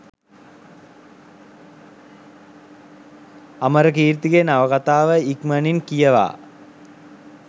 අමරකීර්තිගේ නවකතාව ඉක්මනින් කියවා